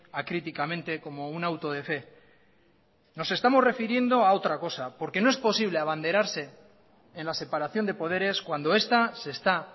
acríticamente como un auto de fe nos estamos refiriendo a otra cosa porque no es posible abanderarse en las separación de poderes cuando esta se está